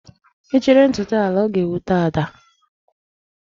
Ị chịrị ntụtụ a laa, ọ ga-ewute Ada.